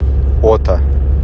ота